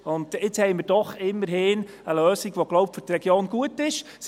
Jetzt haben wir doch immerhin eine Lösung, die für die Region gut ist, denke ich.